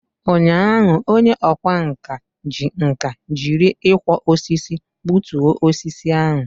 Ụnyaahụ, onye ọkwá nkà ji nkà jiri ịkwọ osisi gbutuo osisi ahụ.